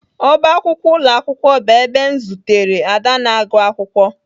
Ọbá akwụkwọ ụlọ akwụkwọ bụ ebe m zutere Ada na-agụ akwụkwọ